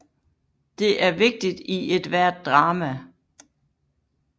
Det er vigtigt i ethvert drama